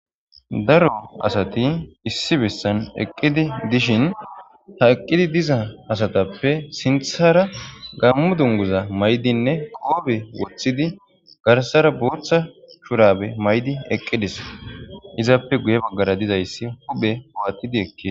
daro asati issi bissan eqqidi dishin ha eqqidi diza asatappe sinthara gammu dunguza maydinne qoobe woththidi garsara booththa shurabe maydi eqqidis izaappe guye baggara dizayssi huphe uwattidi ekkid